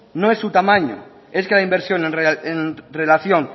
no es su tamaño es que la inversión en relación